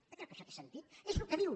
vostè creu que això té sentit és el que diu